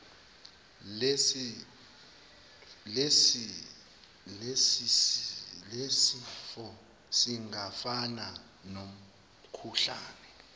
lesifo singafana nomkhuhlane